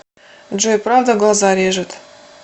джой правда глаза режет